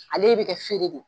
Ale bɛ kɛ feere de ye